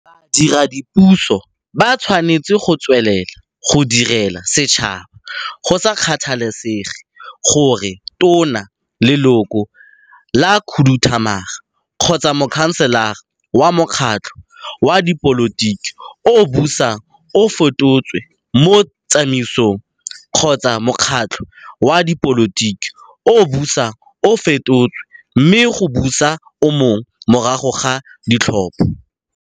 Badiredipuso ba tshwanetse go tswelela go direla setšhaba, go sa kgathalesege gore Tona, Leloko la Khuduthamaga kgotsa Mokhanselara wa mokgatlho wa dipolotiki o o busang o fetotswe mo tsamaisong, kgotsa mokgatlho wa dipolotiki o o busang o fetotswe mme go busa o mongwe morago ga ditlhopho.